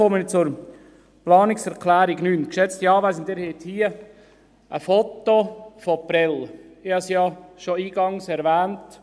Nun komme ich zur Planungserklärung 9. Geschätzte Anwesende, Sie haben hier ein Foto von Prêles’ Ich habe es ja schon eingangs erwähnt: